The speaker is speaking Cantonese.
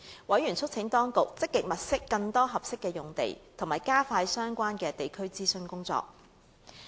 委員促請當局積極物色更多合適用地，以及加快相關的地區諮詢工作。